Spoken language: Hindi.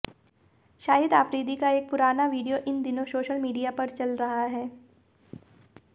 शाहिद आफरीदी का एक पुराना वीडियो इन दिनों सोशल मीडिया पर चल रहा है